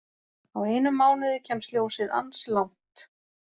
Á einum mánuði kemst ljósið ansi langt.